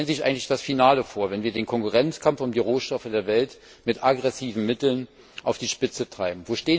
Wie stellen Sie sich eigentlich das Finale vor, wenn wir den Konkurrenzkampf um die Rohstoffe der Welt mit aggressiven Mitteln auf die Spitze treiben?